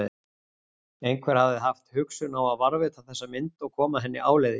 Einhver hafði haft hugsun á að varðveita þessa mynd og koma henni áleiðis.